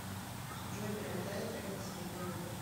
джой перемотай трек до середины